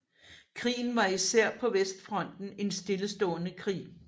Krigen var især på vestfronten en stillestående krig